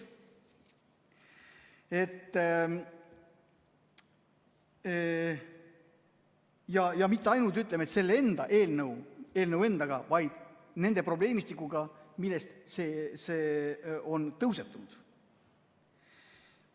Ja ütleme, et mitte ainult selle eelnõu endaga, vaid nende probleemistikega, millest see on tõusetunud.